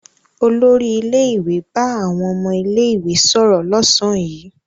Olórí ilé-ìwé bá àwọn ọmọ ilé-ìwé sọ̀rọ̀ lọ́sàn-án yìí.